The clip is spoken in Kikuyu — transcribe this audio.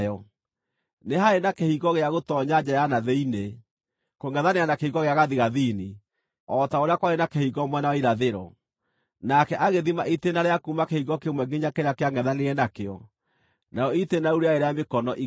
Nĩ haarĩ na kĩhingo gĩa gũtoonya nja ya na thĩinĩ, kũngʼethanĩra na kĩhingo gĩa gathigathini o ta ũrĩa kwarĩ na kĩhingo mwena wa irathĩro. Nake agĩthima itĩĩna rĩa kuuma kĩhingo kĩmwe nginya kĩrĩa kĩangʼethanĩire nakĩo; narĩo itĩĩna rĩu rĩarĩ rĩa mĩkono igana.